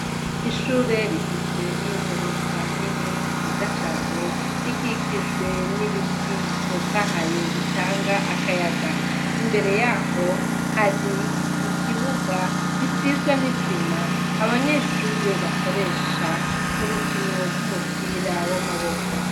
Ishure rigizwe n'i gorofa nini nziza cane rikikijwe n'ibiti bitotahaye bitanga akayaga imbere yaho hari ikibuga gisizwe n'isima abanyeshure bakoresha murukino rw'umupira w'amaboko.